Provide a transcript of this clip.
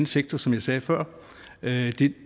sektor som jeg sagde før det